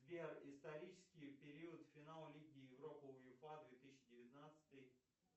сбер исторический период финал лиги европы уефа две тысячи девятнадцатый